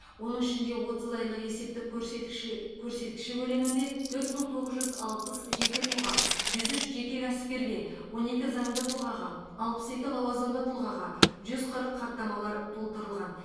оның ішінде отыз айлық есептік көрсеткіші көрсеткіші көлемінде төрт мың тоғыз жүз алпыс жеке тұлға жүз үш жеке кәсіпкерге он екі заңды тұлғаға алпыс екі лауазымды тұлғаға жүз қырық хаттамалар толтырылған